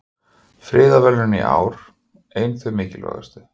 Friðarverðlaunin í ár ein þau mikilvægustu